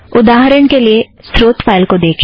उदाहरण के लिए स्रोत फ़ाइल को देखें